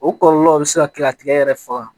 O kɔlɔlɔw bɛ se ka kɛ a tigɛ yɛrɛ faga